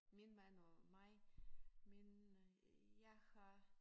Min mand og mig min jeg har